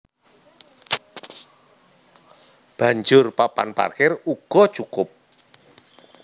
Banjur papan parkir uga cukup